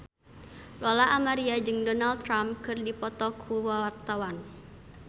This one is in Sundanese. Lola Amaria jeung Donald Trump keur dipoto ku wartawan